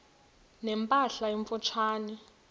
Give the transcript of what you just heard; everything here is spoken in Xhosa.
ne mpahla emfutshane